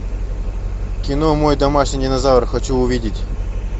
кино мой домашний динозавр хочу увидеть